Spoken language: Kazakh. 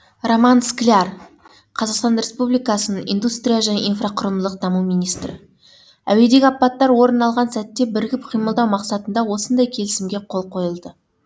роман скляр қазақстан республикасының индустрия және инфрақұрылымдық даму министрі әуедегі апаттар орын алған сәтте бірігіп қимылдау мақсатында осындай келісімге қол қойылды